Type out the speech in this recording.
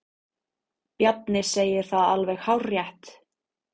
Bjarni segir það alveg hárrétt.